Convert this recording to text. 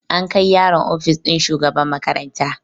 An kai yaron ofis ɗin shugaban makaranta